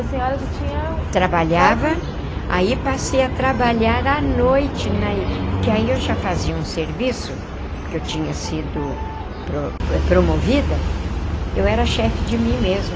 A senhora já tinha... Trabalhava, aí passei a trabalhar à noite, porque aí eu já fazia um serviço, porque eu tinha sido pro promovida, eu era chefe de mim mesma.